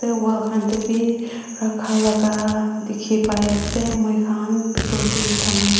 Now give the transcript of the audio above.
wol khan teh bhi rakha laga dikhi pai ase moikhan bitor teh saman --